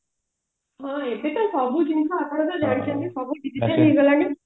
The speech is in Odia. ହଁ ଏବେ ତ ସବୁ ଜିନିଷ ଆପଣ ଜାଣିଛନ୍ତି ସବୁ digital ହେଇଗଲାଣି